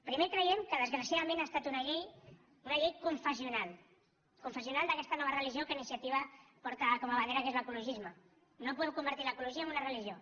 primer creiem que desgraciadament ha estat una llei confessional confessional d’aquesta nova religió que iniciativa porta com a bandera que és l’ecologisme no podem convertir l’ecologia en una religió